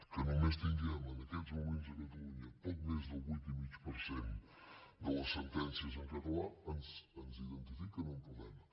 que només tinguem en aquests moments a catalunya poc més del vuit i mig per cent de les sentències en català ens identifica un problema